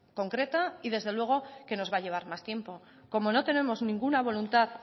concreta y desde luego que nos va a llevar más tiempo como no tenemos ninguna voluntad